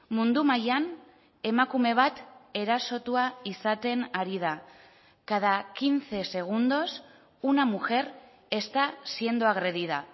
mundu mailan emakume bat erasotua izaten ari da cada quince segundos una mujer está siendo agredida